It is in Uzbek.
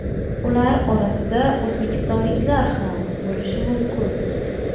Ular orasida o‘zbekistonliklar ham bo‘lishi mumkin.